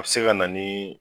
A be se ka na nii